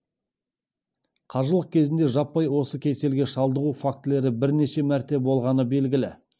қажылық кезінде жаппай осы кеселге шалдығу фактілері бірнеше мәрте болғаны белгілі